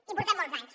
i portem molts anys